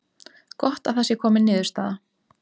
Gott að það sé komin niðurstaða